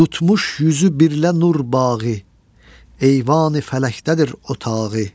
Tutmuş üzü birlə nur bağı, eyvani fələkdədir otağı.